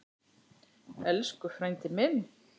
Elsku frændi minn.